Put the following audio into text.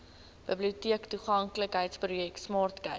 biblioteektoeganklikheidsprojek smart cape